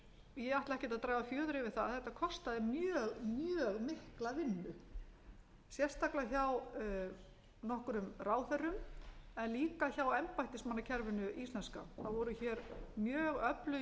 að þetta kostaði mjög mjög mikla vinnu sérstaklega hjá nokkrum ráðherrum en líka hjá embættismannakerfinu íslenska það voru hér mjög öflugir